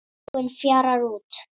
Trúin fjarar út